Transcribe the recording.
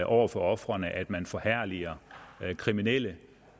over for ofrene at man forherliger kriminelle